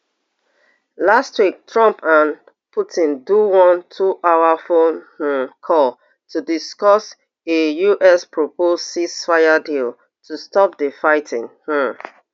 last week trump and putin do one two hour phone um call to discuss a US proposed ceasefire deal to stop di fighting um